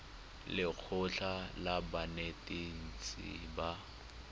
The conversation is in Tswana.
le lekgotlha la banetetshi ba